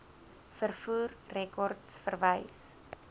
vervoer rekords verwys